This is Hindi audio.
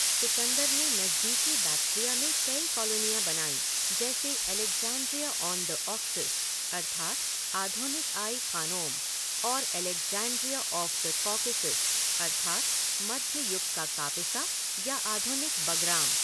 सिकंदर ने नज़दीकी बैक्ट्रिया में कई कॉलोनियाँ बनाई जैसे अलेक्ज़ैंड्रिया ऑन द ऑक्सस अर्थात आधुनिक आई ख़ानोम और अलेक्ज़ैंड्रिया ऑफ़ द कॉकेसस अर्थात मध्य युग का कापिसा या आधुनिक बगराम।